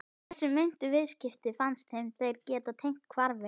Þessi meintu viðskipti fannst þeim þeir geta tengt hvarfi